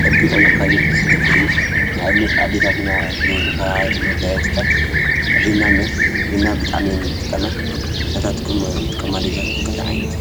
ጸቢቑ ንክከይድ ዝገብር እዩ። ንኣብነት ኣዲታትና ዝገብርኦ ካብ መጋየጽታት ሒና ኣሎ። ሒና ብጣዕሚ እየን ዝጥቀማ፣ ናታትክን ዝጥቀማ ኣዴታትኵም ከ ታይ ዓይነት እዩ?